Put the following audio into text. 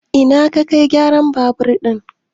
Ina ya Kai gyaran babur ɗin?